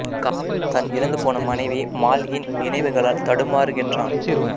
காப் தன் இறந்து போன மனைவி மால்இன் நினைவுகளால் தடுமாறுகின்றான்